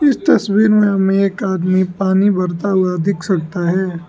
इस तस्वीर में हमें एक आदमी पानी भरता हुआ दिख सकता है।